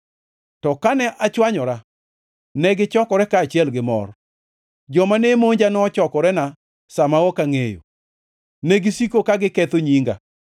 To kane achwanyora, negichokore kaachiel gi mor; joma ne monja nochokorena sa ma ok angʼeyo, negisiko ka giketho nyinga.